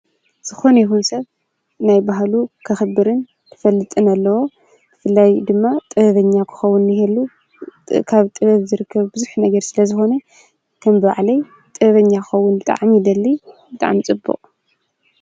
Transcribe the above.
ዝኮነ ይኩን ሰብ ንናይ ባህሉ ከክብርን ክፈልጥን አለዎ። ብፍላይ ድማ ጥበብኛ ንክኸውን እየ ኢሉ ካብ ጥበብ ዝርከብ ቡዙሕ ስለዝኮነ ከምባዕለይ ጥበበኛ ክኸውን ብጣዕሚ ይደሉ ብጣዕሚ ፅቡቅ ።